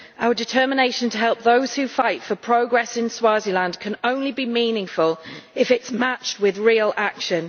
Our determination to help those who fight for progress in Swaziland can only be meaningful if it is matched with real action.